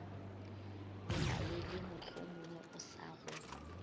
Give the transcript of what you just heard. belaele mohlomongwe o sa go